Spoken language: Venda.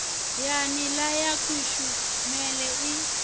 ya nila ya kushumele i